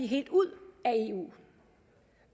helt ud af eu